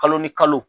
Kalo ni kalo